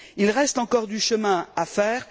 Il reste encore du chemin à faire.